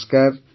ନମସ୍କାର